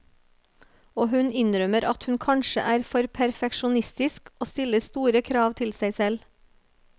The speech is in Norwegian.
Og hun innrømmer at hun kanskje er for perfeksjonistisk og stiller store krav til seg selv.